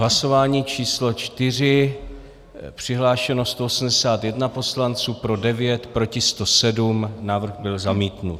Hlasování číslo 4, přihlášeno 181 poslanců, pro 9, proti 107, návrh byl zamítnut.